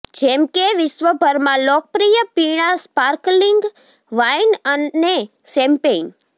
જેમ કે વિશ્વભરમાં લોકપ્રિય પીણાં સ્પાર્કલિંગ વાઇન અને શેમ્પેઈન